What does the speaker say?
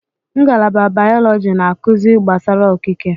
Ngalaba bayọlọji na-akụzi gbasara okike.